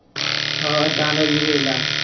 ਆਹੋ ਏਦਾ ਦਾ ਹੀ ਏ ਵੇਖ ਲੈ।